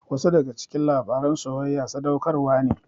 Wasu daga cikin labaran soyayya sadaukarwa ne.